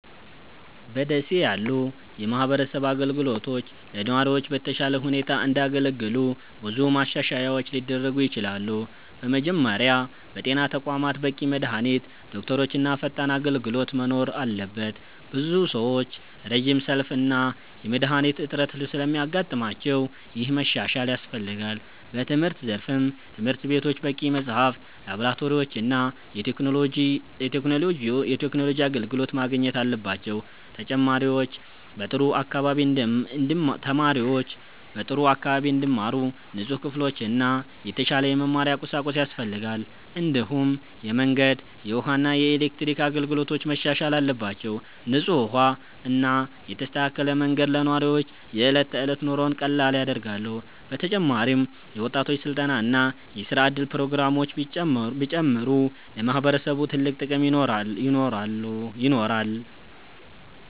በ ደሴ ያሉ የማህበረሰብ አገልግሎቶች ለነዋሪዎች በተሻለ ሁኔታ እንዲያገለግሉ ብዙ ማሻሻያዎች ሊደረጉ ይችላሉ። በመጀመሪያ በጤና ተቋማት በቂ መድሃኒት፣ ዶክተሮች እና ፈጣን አገልግሎት መኖር አለበት። ብዙ ሰዎች ረጅም ሰልፍ እና የመድሃኒት እጥረት ስለሚያጋጥማቸው ይህ መሻሻል ያስፈልጋል። በትምህርት ዘርፍም ትምህርት ቤቶች በቂ መጽሐፍት፣ ላብራቶሪዎች እና የቴክኖሎጂ አገልግሎት ማግኘት አለባቸው። ተማሪዎች በጥሩ አካባቢ እንዲማሩ ንጹህ ክፍሎችና የተሻለ የመማሪያ ቁሳቁስ ያስፈልጋል። እንዲሁም የመንገድ፣ የውሃ እና የኤሌክትሪክ አገልግሎቶች መሻሻል አለባቸው። ንጹህ ውሃ እና የተስተካከለ መንገድ ለነዋሪዎች የዕለት ተዕለት ኑሮን ቀላል ያደርጋሉ። በተጨማሪም የወጣቶች ስልጠና እና የስራ እድል ፕሮግራሞች ቢጨምሩ ለማህበረሰቡ ትልቅ ጥቅም ይኖራል።